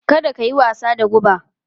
Kada ka yi wasa da guba!